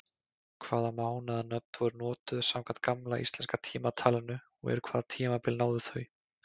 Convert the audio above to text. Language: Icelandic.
Hvaða mánaðanöfn voru notuð samkvæmt gamla íslenska tímatalinu og yfir hvaða tímabil náðu þau?